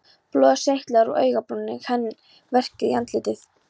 Blóðið seytlaði úr augabrúninni, hann verkjaði í andlitið.